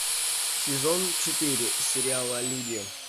сезон четыре сериала люди